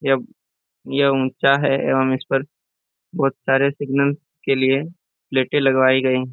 यह यह ऊंचा है एवं इस पर बहुत सारे सिग्नल्स के लिए प्लेटें लगवाई गई।